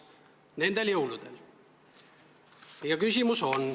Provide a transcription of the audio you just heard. Nende jõulude ajal!